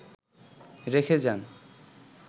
রেখে যান